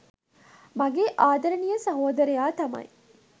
මගේ ආදරණීය සහෝදරයා තමයි.